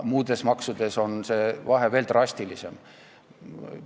Muudes maksudes on vahe veel drastilisem.